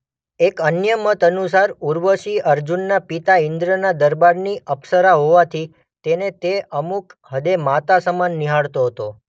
એક અન્ય મત અનુસાર ઉર્વશી અર્જુનના પિતા ઇંદ્રના દરબારની અપ્સરા હોવાથી તેને તે અમુક હદે માતા સમાન નિહાળતો હતો.